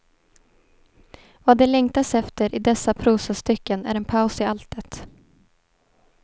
Vad det längtas efter i dessa prosastycken är en paus i alltet.